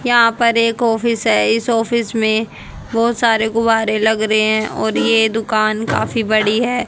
यहां पर एक ऑफिस है इस ऑफिस में बहोत सारे गुब्बारे लग रहे हैं और ये दुकान काफी बड़ी है।